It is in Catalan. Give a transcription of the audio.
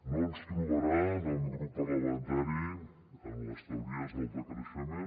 no ens trobarà al meu grup parlamentari en les teories del decreixement